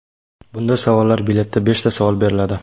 Bunda savollar biletida beshta savol beriladi.